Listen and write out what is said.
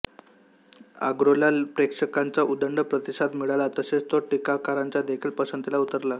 आर्गोला प्रेक्षकांचा उदंड प्रतिसाद मिळाला तसेच तो टीकाकारांच्या देखील पसंतीस उतरला